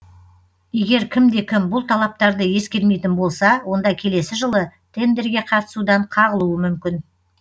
егер кімде кім бұл талаптарды ескермейтін болса онда келесі жылы тендерге қатысудан қағылуы мүмкін